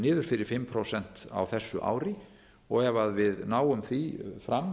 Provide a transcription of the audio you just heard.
niður fyrir fimm prósent á þessu ári og ef við náum því fram